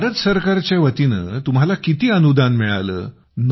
तर भारत सरकारच्या वतीनं तुम्हाला किती अनुदान मिळालं